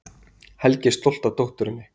Helgi er stoltur af dótturinni.